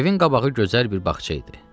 Evin qabağı gözəl bir bağça idi.